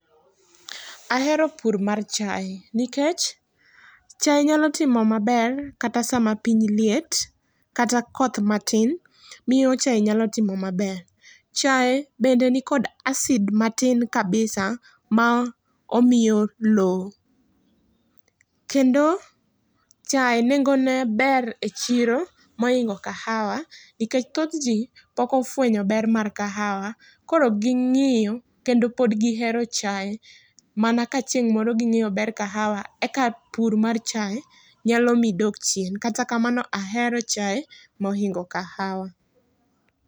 Ahero pur mar chae nikech chae nyalo timo maber kata sa ma piny liet kata koth matin miyo chae timo maber. Chae be ni kod acid matin kabisa ma omiyo loo. Kendo chae nengo ne ber e chiro ma oingo kahawa nikech thoth ji pod ofwenyo ber mar kahawa koro gi ng'iyo kata pod gi hero chae ma na ka chieng moro gi ng'eyo ber kahawa eka pur mar chae nyalo mi dog chien. Kata kamano ahero chae ma oingo kahawa.